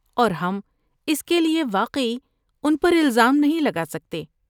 اور ہم اس کے لیے واقعی ان پر الزام نہیں لگا سکتے۔